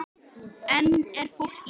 Enn er fólk í